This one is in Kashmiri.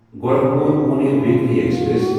Gorakhpur Pune weekly express